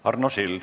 Arno Sild.